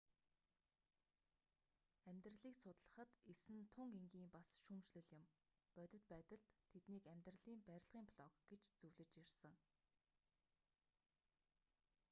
амьдралийг судлахад эс нь тун энгийн бас шүүмжлэм юм бодит байдалд тэднийг амьдралийн барилгын блок гэж зөвлөж ирсэн